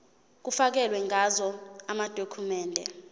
kufakelwe ngazo amadokhumende